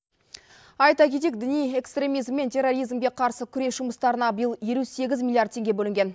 айта кетейік діни экстремизм мен терроризмге қарсы күрес жұмыстарына биыл елу сегіз миллиард теңге бөлінген